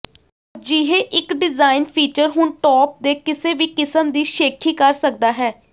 ਅਜਿਹੇ ਇੱਕ design feature ਹੁਣ ਟੋਪ ਦੇ ਕਿਸੇ ਵੀ ਕਿਸਮ ਦੀ ਸ਼ੇਖੀ ਕਰ ਸਕਦਾ ਹੈ